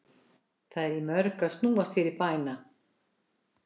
Það er í mörgu að snúast fyrir bæna